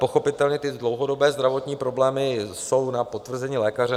Pochopitelně ty dlouhodobé zdravotní problémy jsou na potvrzení lékaře.